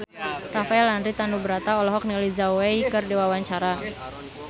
Rafael Landry Tanubrata olohok ningali Zhao Wei keur diwawancara